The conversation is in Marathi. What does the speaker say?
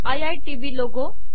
I I T B logo